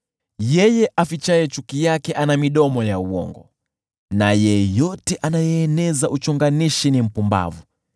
Yeye afichaye chuki yake ana midomo ya uongo, na yeyote anayeeneza uchonganishi ni mpumbavu.